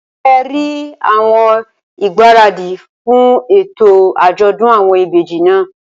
Ṣé rí àwọn ìgbáradì fún ètò àjọ̀dún àwọn ìbejì náà?